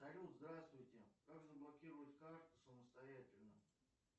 салют здравствуйте как заблокировать карту самостоятельно